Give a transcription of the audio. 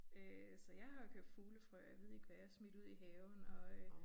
Øh så jeg har jo købt fuglefrø og ved ikke hvad jeg har smidt ud i haven og øh